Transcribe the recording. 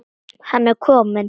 Hann er kominn!